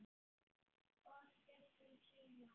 Of stuttum tíma.